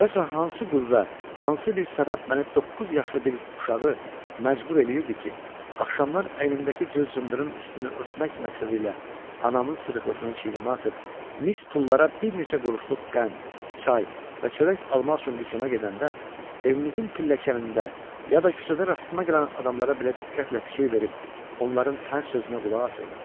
Görəsən hansı qüvvə, hansı bir səbəb məni doqquz yaşlı bir uşağı məcbur eləyirdi ki, axşamlar əlimdəki cır-cındırın üstünü örtmək məqsədi ilə anamın sırqılısını çiynimə atıb mis pullara bir neçə quruşluq qənd, çay və çörək almaq üçün dükana gedəndə, evimizin pilləkanında ya da küçədə rastıma gələn adamlara belə diqqətlə fikir verib, onların hər sözünə qulaq asırdım?